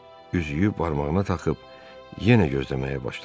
Üzüyü barmağına taxıb yenə gözləməyə başladı.